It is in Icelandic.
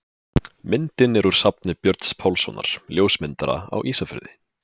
Myndin er úr safni Björns Pálssonar, ljósmyndara á Ísafirði.